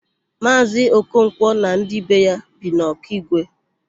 Maazị Okonkwo na ndị be ya bi n' Ọkigwe.